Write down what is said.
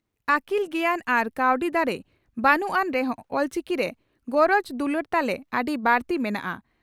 ᱟᱹᱠᱤᱞ ᱜᱮᱭᱟᱱ ᱟᱨ ᱠᱟᱹᱣᱰᱤ ᱫᱟᱲᱮ ᱵᱟᱹᱱᱩᱜ ᱟᱱ ᱨᱮᱦᱚᱸ ᱚᱞᱪᱤᱠᱤ ᱨᱮ ᱜᱚᱨᱚᱡᱽ ᱫᱩᱞᱟᱹᱲ ᱛᱟᱞᱮ ᱟᱹᱰᱤ ᱵᱟᱹᱲᱛᱤ ᱢᱮᱱᱟᱜᱼᱟ ᱾